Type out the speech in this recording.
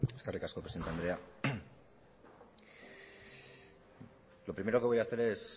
eskerrik asko presidente andrea lo primero que voy a hacer es